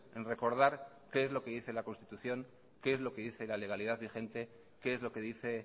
en recordar qué es lo que dice la constitución qué es que dice la legalidad vigente qué es lo que dice